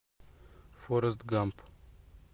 форест гамп